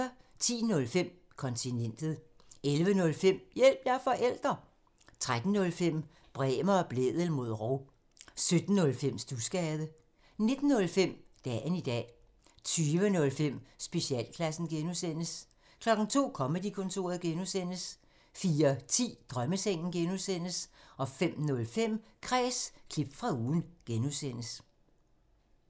10:05: Kontinentet 11:05: Hjælp – jeg er forælder! 13:05: Bremer og Blædel mod rov 17:05: Studsgade 19:05: Dagen i dag 20:05: Specialklassen (G) 02:00: Comedy-kontoret (G) 04:10: Drømmesengen (G) 05:05: Kræs – klip fra ugen (G)